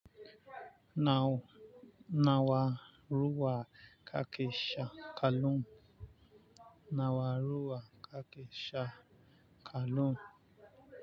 Nawa ruwa kake sha kullum ke sha kallum?